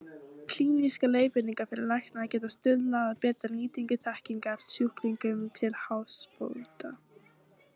Klínískar leiðbeiningar fyrir lækna geta stuðlað að bættri nýtingu þekkingar sjúklingum til hagsbóta.